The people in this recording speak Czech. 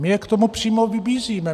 My je k tomu přímo vybízíme.